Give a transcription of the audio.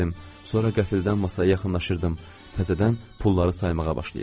Sonra qəfildən masaya yaxınlaşırdım, təzədən pulları saymağa başlayırdım.